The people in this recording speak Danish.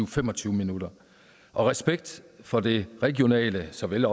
fem og tyve minutter og respekt for det regionale så vel